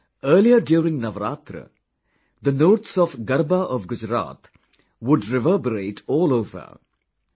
Earlier during Navratra, the notes of Garba of Gujarat would reverberate all over...